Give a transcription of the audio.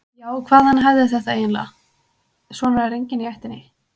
Já, hvaðan ég hefði þetta eiginlega, svona er enginn í ættinni.